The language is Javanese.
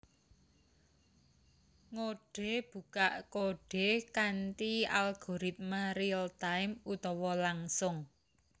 Ngodhe bukak kodhe kanthi algoritma real time utawa langsung